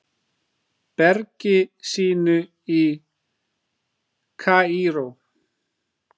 bergi sínu í Kaíró.